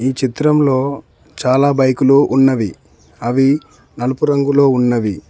ఈ చిత్రంలో చాలా బైకులు ఉన్నవి అవి నలుపు రంగులో ఉన్నవి.